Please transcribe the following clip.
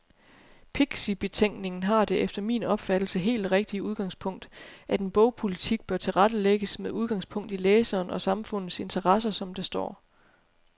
Pixibetænkningen har det efter min opfattelse helt rigtige udgangspunkt, at en bogpolitik bør tilrettelægges med udgangspunkt i læserens og samfundets interesser, som der står.